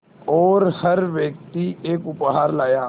और हर व्यक्ति एक उपहार लाया